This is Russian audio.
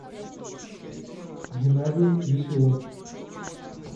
геннадий веселов